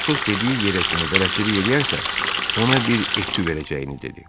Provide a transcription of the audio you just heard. Atos dediyi yerə kimi bələdçilik eləyərsə, ona bir ekü verəcəyini dedi.